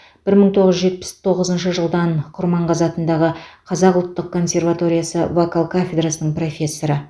бір мың тоғыз жүз жетпіс тоғызыншы жылдан құрманғазы атындағы қазақ ұлттық консерваториясы вокал кафедрасының профессоры